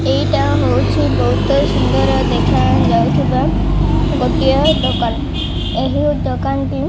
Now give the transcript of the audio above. ଏଇଟା ହଉଛି ବହୁତ୍ ସୁନ୍ଦର ଦେଖାଯାଉ ଥିବା ଗୋଟାଏ ଦୋକାନ ଏହି ଦୋକାନରେ --